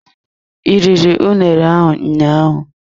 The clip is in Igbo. I riri unere ahụ ụnyaahụ?